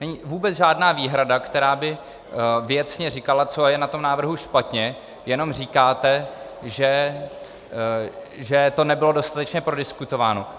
Není vůbec žádná výhrada, která by věcně říkala, co je na tom návrhu špatně, jenom říkáte, že to nebylo dostatečně prodiskutováno.